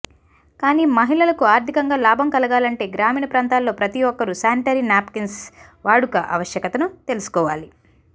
కానీ మహిళలకు ఆర్థికంగా లాభం కలగాలంటే గ్రామీణ ప్రాంతాల్లో ప్రతి ఒక్కరు సానిటరీ నాప్కిన్స్ వాడుక అవశ్యకత ను తెలుసుకోవాలి